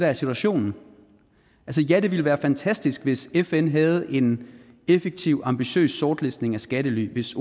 er situationen ja det ville være fantastisk hvis fn havde en effektiv ambitiøs sortlistning af skattely hvis